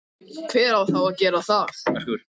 hver á þá að gera það?